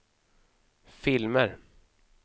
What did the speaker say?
filmer